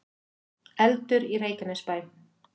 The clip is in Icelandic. Eldur í Reykjanesbæ